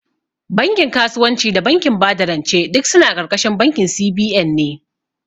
Bankin kasuwanci da bankin bada rance duk suna ƙarƙashin bankin C.B.N ne